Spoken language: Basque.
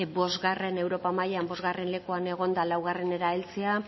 europa mailan bosgarren lekuan egonda laugarrenera heltzea